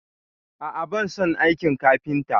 A a, ban son aikin kafinta.